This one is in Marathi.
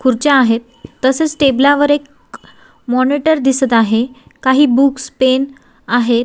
खुर्च्या आहेत तसेच टेबल वर एक मॉनिटर दिसत आहे काही बुक्स पेन आहेत.